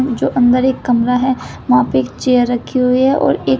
जो अंदर एक कमरा है वहां पे एक चेयर रखी हुई है और एक--